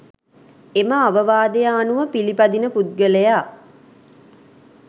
එම අවවාදය අනුව පිළිපදින පුද්ගලයා